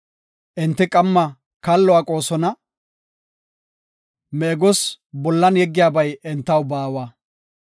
Enti qamma kallo aqoosona; meegos bolla yeggiyabay entaw baawa.